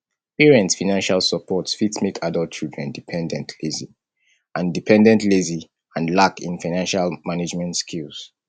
parents financial support fit make adult children dependent lazy and dependent lazy and lack in financial management skills